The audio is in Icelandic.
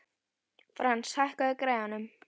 Frans, hækkaðu í græjunum.